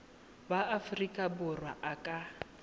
wa aforika borwa a ka